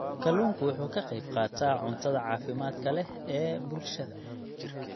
Kalluunku waxa uu ka qayb qaataa cuntada caafimaadka leh ee bulshada.